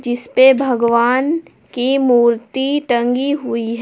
इस पे भगवान की मूर्ति टंगी हुई ह--